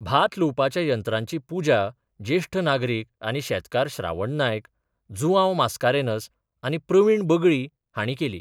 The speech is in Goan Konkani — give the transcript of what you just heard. भात लुवपाच्या यंत्रांची पुजा जेश्ठ नागरिक आनी शेतकार श्रावण नायक, जुवांव मास्कारेन्हस आनी प्रवीण बगळी हांणी केली.